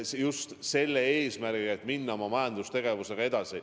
Seda just selle eesmärgiga, et minna oma majandustegevusega edasi.